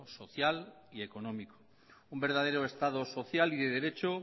social y económico un verdadero estado social y de derecho